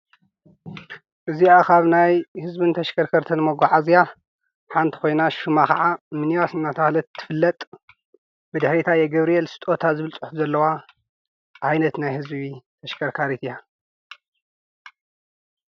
እዚኣ ካብ ናይ ሕዝቢ ንተሽከርከርተን መጕዓዚያ ሓንቲ ኾይና ሹማ ኸዓ ሚኒባስ እናተብሃለት እትፍለጥ ብድሕሪታ የገብርኤል ስጦታ ዝብልጽሑ ዘለዋ ኣይነት ናይ ሕዝቢ ተሽከርካሪት እያ